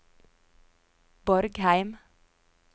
Borgheim